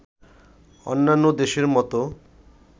অন্যান্য দেশের মতো